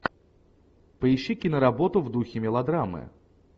поищи киноработу в духе мелодрамы